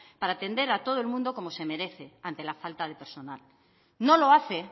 para atender a todo el mundo como se merece ante la falta de personal no lo hace